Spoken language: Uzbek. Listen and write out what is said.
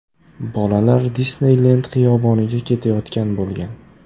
Bolalar Disneylend xiyoboniga ketayotgan bo‘lgan.